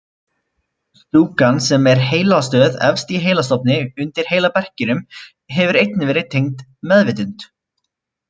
Stúkan sem er heilastöð efst í heilastofni undir heilaberkinum hefur einnig verið tengd meðvitund.